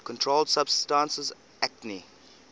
controlled substances acte